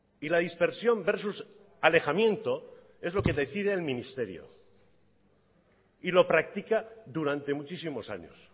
y la dispersión versus alejamiento es lo que decide el ministerio y lo practica durante muchísimos años